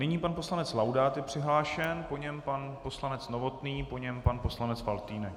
Nyní pan poslanec Laudát je přihlášen, po něm pan poslanec Novotný, po něm pan poslanec Faltýnek.